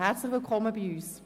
Herzlich willkommen bei uns!